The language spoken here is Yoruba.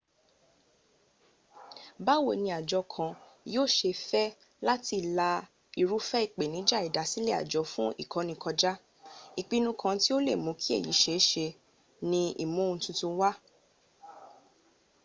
báwo ni àjọ kan yóò ṣe fẹ́ láti lá irúfẹ́ ìpèníjà ìdásílẹ̀ àjọ fún ìkọ́ni kọjá ìpinnu kan tí o lè mú kí èyí ṣe é ṣe ni ìmú ohun titun wá